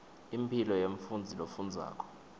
impilo yemfundzi lofundzako